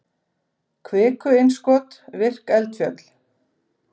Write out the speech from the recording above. kviku-innskot virk eldfjöll